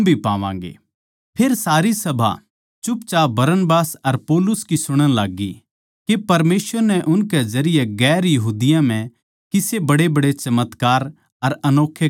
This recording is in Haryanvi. फेर सारी सभा बोलबाल्ली बरनबास अर पौलुस की सुणन लाग्गी के परमेसवर नै उनकै जरिये दुसरी जात्तां म्ह किसे बड्डेबड्डे चमत्कार अर अनोक्खे काम दिखाए